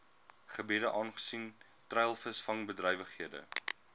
gebiede aangesien treilvisvangbedrywighede